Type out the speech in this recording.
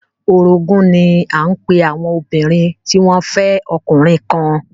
Orogún ní à ń pe àwọn obìnrin tí wọ́n fẹ́ ọkùnrin kan